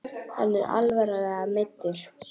Er hann alvarlega meiddur?